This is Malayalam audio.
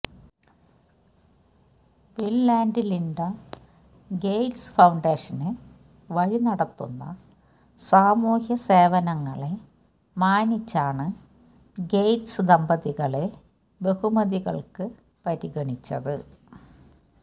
bill and Linda Gates Foundation വഴി നടത്തുന്ന സാമൂഹ്യ സേവനങ്ങളെ മാനിച്ചാണ് ഗേറ്റ്സ് ദമ്പതികളെ ബഹുമതികള്ക്ക് പരിഗണിച്ചത്